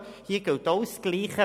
– Kontrolle: Hier gilt dasselbe: